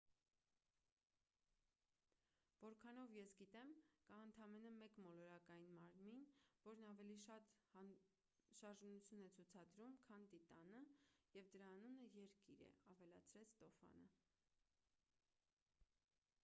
որքանով ես գիտեմ կա ընդամենը մեկ մոլորակային մարմին որն ավելի շատ շարժունություն է ցուցադրում քան տիտանը և դրա անունը երկիր է ավելացրեց ստոֆանը